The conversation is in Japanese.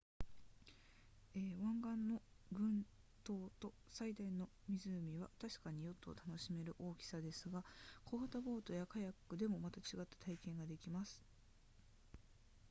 沿岸の群島と最大の湖は確かにヨットを楽しめる大きさですが小型ボートやカヤックでもまた違った体験ができます